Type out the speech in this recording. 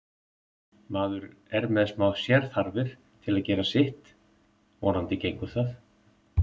Maður er með smá sérþarfir til að geta gert sitt, vonandi gengur það.